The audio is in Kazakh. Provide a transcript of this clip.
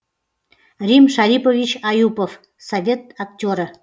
рим шарипович аюпов совет актері